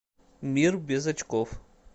мир без очков